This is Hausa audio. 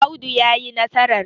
Audu ya yi nasarar!